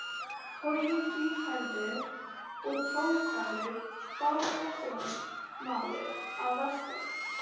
Toggi, hvíthærður og tálgaður bátasjómaður að vestan.